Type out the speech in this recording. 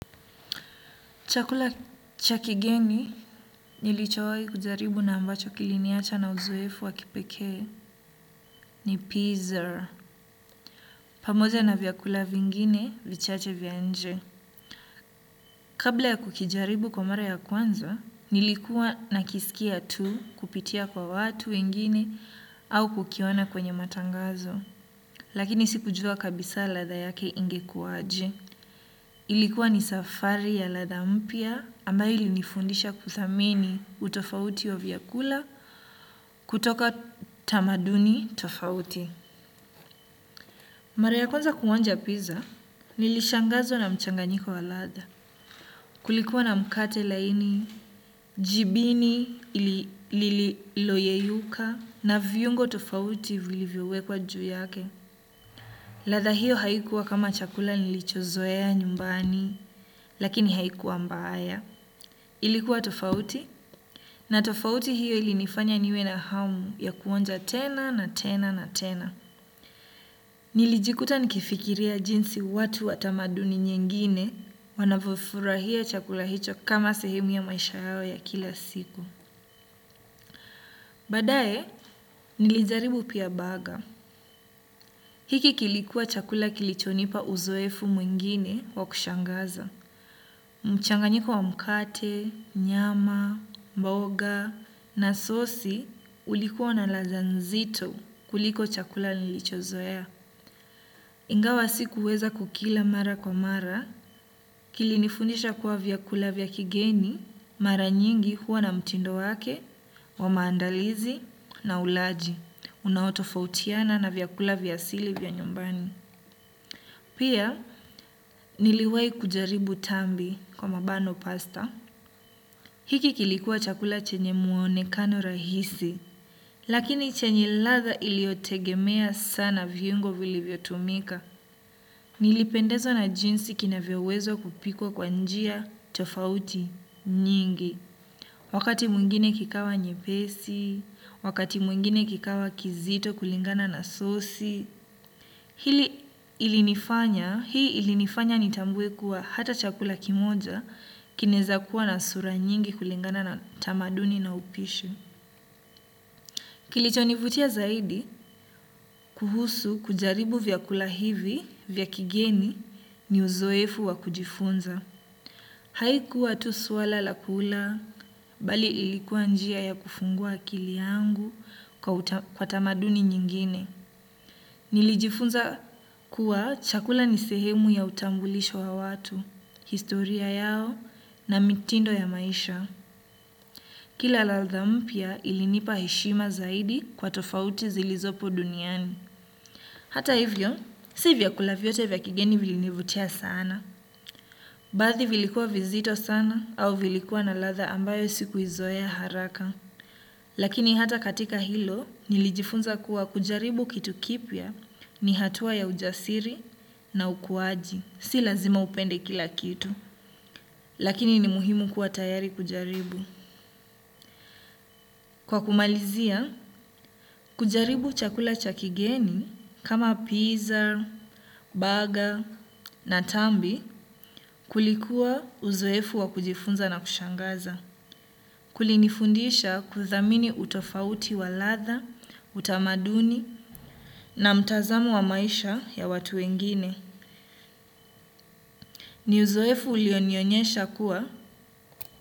Chakula chakigeni nilichowai kujaribu na ambacho kiliniacha na uzoefu wakipekee ni pizza. Pamoja na vyakula vingine vichache vya nje. Kabla ya kukijaribu kwa mara ya kwanza, nilikuwa na kisikia tu kupitia kwa watu wengine au kukiona kwenye matangazo. Lakini siku jua kabisa ladha yake ingekuwaje. Ilikuwa ni safari ya ladha mpya ambayo ilinifundisha kuthamini utofauti wa vyakula kutoka tamaduni tofauti. Mara ya kwanza kuonja pizza, nilishangazwa na mchanganyiko wa ladha. Kulikuwa na mkate laini, jibini lililoyeyuka na vyungo tofauti vilivyowekwa juu yake. Ladha hiyo haikuwa kama chakula nilichozoea nyumbani, lakini haikuwa mbaya. Ilikuwa tofauti na tofauti hiyo ilinifanya niwe na hamu ya kuonja tena na tena na tena. Nilijikuta nikifikiria jinsi watu watamaduni nyingine wanavyofurahia chakula hicho kama sehemu ya maisha yao ya kila siku. Baadaye, nilijaribu pia burger. Hiki kilikuwa chakula kilichonipa uzoefu mwingine wa kushangaza. Mchanganyiko wa mkate, nyama, mboga, na sosi ulikuwa na ladha nzito kuliko chakula nilicho zoea. Ingawa si kuweza kukila mara kwa mara, kilinifundisha kuwa vyakula vyakigeni, mara nyingi huwa na mtindo wake, wa maandalizi na ulaji. Unao tofautiana na vyakula vya asili vya nyumbani. Pia, niliwahi kujaribu tambi kwa mabano pasta. Hiki kilikuwa chakula chenye muonekano rahisi, lakini chenye ladha iliotegemea sana vyungo vili vyotumika. Nilipendezwa na jinsi kina vyowezwa kupikwa kwa njia, tofauti, nyingi. Wakati mwingine kikawa nyepesi, wakati mwingine kikawa kizito kulingana na sosi. Hii ilinifanya nitambue kuwa hata chakula kimoja kinaeza kuwa na sura nyingi kulingana na tamaduni na upishi. Kilichonivutia zaidi kuhusu kujaribu vyakula hivi vya kigeni ni uzoefu wa kujifunza. Haikuwa tu swala la kula bali ilikuwa njia ya kufungua akili yangu kwa tamaduni nyingine. Nilijifunza kuwa chakula nisehemu ya utambulisho wa watu, historia yao na mitindo ya maisha. Kila ladha mpya ilinipa heshima zaidi kwa tofauti zilizopo duniani. Hata hivyo, sivyakula vyote vya kigeni vilinivutia sana. Baadhi vilikuwa vizito sana au vilikuwa na ladha ambayo sikuizoea haraka. Lakini hata katika hilo, nilijifunza kuwa kujaribu kitu kipya ni hatua ya ujasiri na ukuaji. Si lazima upende kila kitu, lakini ni muhimu kuwa tayari kujaribu. Kwa kumalizia, kujaribu chakula chakigeni kama pizza, burger na tambi kulikuwa uzoefu wa kujifunza na kushangaza. Kuli nifundisha kuthamini utofauti wa ladha, utamaduni na mtazamo wa maisha ya watu wengine. Niuzoefu ulionionyesha kuwa.